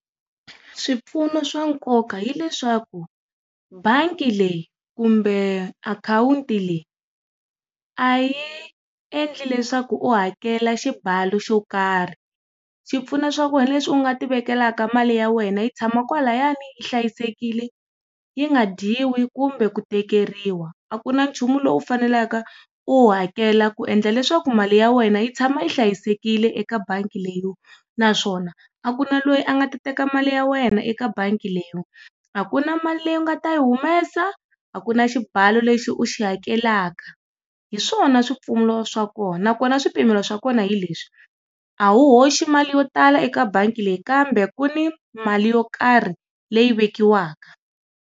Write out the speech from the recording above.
Swipfuno swa nkoka hileswaku, bangi leyi kumbe akhawunti leyi, a yi endli leswaku u hakela xibalo xo karhi. Swi pfuna swa ku wena leswi u nga ti vekelaka mali ya wena yi tshama kwalayani hlayisekile, yi nga dyiwi kumbe ku tekeriwa. A ku na nchumu lowu u fanelaka u wu hakela ku endla leswaku mali ya wena yi tshama hlayisekile eka bangi leyiwa, naswona a kuna loyi a nga teka mali ya wena eka bangi leyiwa. A ku na mali leyi u nga ti yi humesa, a kuna xibalo lexi u xi hakelaka. Hi swona swipfuno swa kona. Na kona swipimelo swa kona hi leswi, a wu hoxi mali yo tala eka bangi leyi kambe ku ni mali yo karhi leyi vekiwaka.